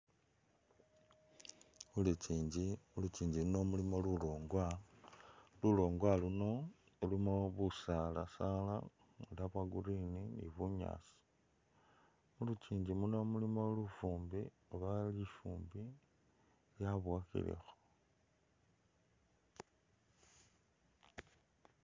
Khulunjinji, khulunjinji muuno mulimo lulwongwa, lulwongwa luuno lulimo busaala-saala nga bwa'green ni bunyaasi mulunjinji muuno mulimo lufumbi oba lufumbo lwaboyakilamo